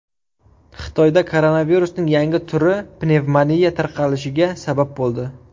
Xitoyda koronavirusning yangi turi pnevmoniya tarqalishiga sabab bo‘ldi.